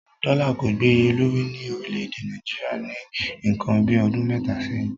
Dọ́là kò gbè iye lórí ní orílẹ̀-èdè Nàìjíríà ní ǹkan bíi ọdún mẹ́ta sẹ́yìn.